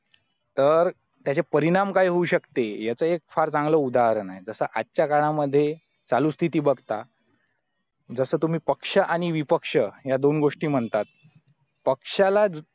तर त्याचे परिणाम काय होऊ शकते याचे फार चांगले उदाहरण आहे जसं आजच्या कालामध्ये चालू स्थिती बघता जसं तुम्ही पक्ष आणि विपक्ष या दोन गोष्टी म्हणतात पक्षाला